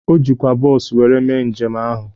O jikwa bọọsu were mee njem ahụ.